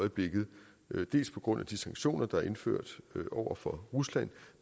øjeblikket dels på grund af de sanktioner der er indført over for rusland